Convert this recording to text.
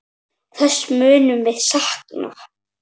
Þess munum við sakna.